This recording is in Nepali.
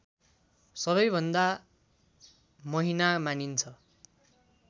सबैभन्दा महिना मानिन्छ